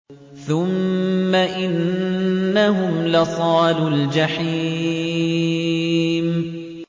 ثُمَّ إِنَّهُمْ لَصَالُو الْجَحِيمِ